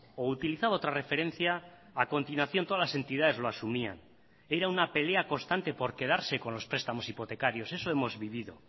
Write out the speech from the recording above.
o utilizaba otra referencia a continuación todas las entidades lo asumían era una pelea constante por quedarse con los prestamos hipotecarios eso hemos vivido